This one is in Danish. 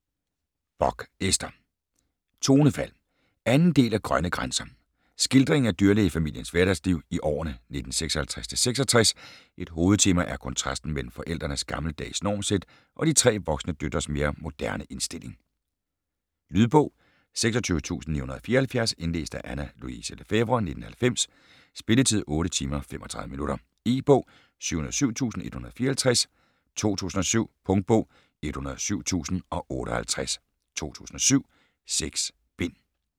Bock, Ester: Tonefald 2. del af Grønne grænser. Skildring af dyrlægefamiliens hverdagsliv i årene 1956-66. Et hovedtema er kontrasten mellem forældrenes gammeldags normsæt og de tre voksne døtres mere moderne indstilling. Lydbog 26974 Indlæst af Anna Louise Lefèvre, 1990. Spilletid: 8 timer, 35 minutter. E-bog 707154 2007. Punktbog 107058 2007. 6 bind.